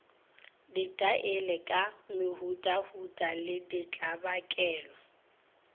ditaele ka mehutahuta le ditlabakelo